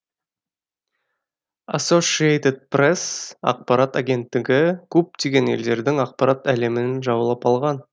ассошиэйтед пресс ақпарат агенттігі көптеген елдердің ақпарат әлемін жаулап алған